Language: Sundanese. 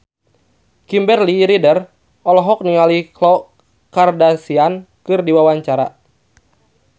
Kimberly Ryder olohok ningali Khloe Kardashian keur diwawancara